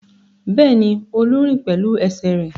Bẹ́ẹ̀ni, Olú ń rìn pẹ̀lú ẹsẹ̀ rẹ̀.